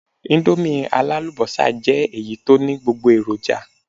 Íńdómì alálùbọ́sà jẹ́ èyí tó ní gbogbo èròjà.